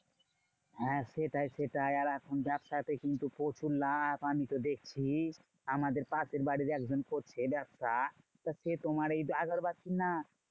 হ্যাঁ সেটাই সেটাই আর এখন ব্যাবসাতে কিন্তু প্রচুর লাভ আমিতো দেখছি। আমাদের পাশের বাড়ির একজন করছে ব্যবসা। তা সে তোমার এই আগরবাতির না